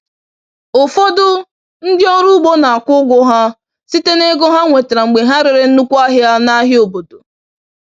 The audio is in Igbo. Ụfọdụ ndị ọrụ ugbo na-akwụ ụgwọ ha site na ego ha nwetara mgbe ha rere nnukwu ahịa n’ahịa obodo.